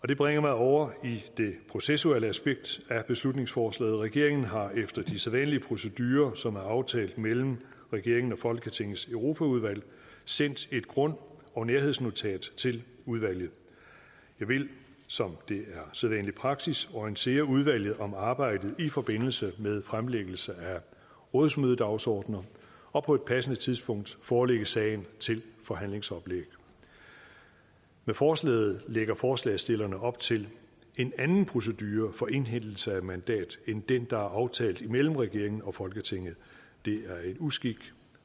det bringer mig over i det processuelle aspekt af beslutningsforslaget regeringen har efter de sædvanlige procedurer som er aftalt mellem regeringen og folketingets europaudvalg sendt et grund og nærhedsnotat til udvalget jeg vil som det er sædvanlig praksis orientere udvalget om arbejdet i forbindelse med fremlæggelse af rådsmødedagsordener og på et passende tidspunkt forelægge sagen til forhandlingsoplæg med forslaget lægger forslagsstillerne op til en anden procedure for indhentelse af mandat end den der er aftalt imellem regeringen og folketinget det er en uskik